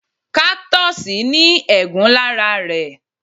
Cactus ní egún lára rẹ̀